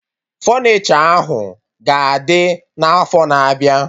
Fọnichọ ahụ ga-adị na afọ na abịa